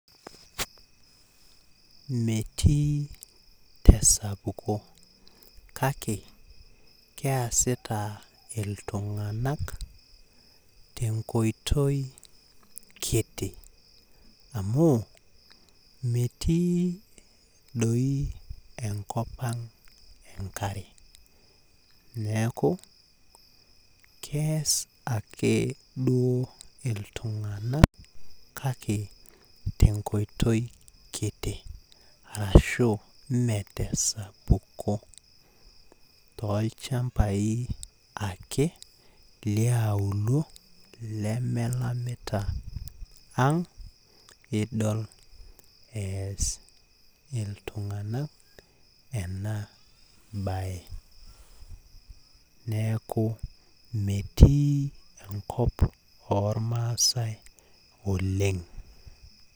Metii tesapuko kake keasita iltunganak tenkoitoi kiti amu metii doi enkop ang enkare niaku keeas ake duoo iltunganak tenkoitoi kiti kake mme tesapuko tolchambai ake liang ake idol easita iltunganak ena bae niaku metii enkop ormaasae oleng.